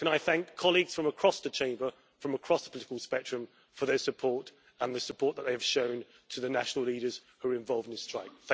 Can I thank colleagues from across the Chamber, from across the political spectrum, for their support and the support that they have shown to the national leaders who were involved in the strike.